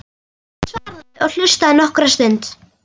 Hann svaraði og hlustaði nokkra stund.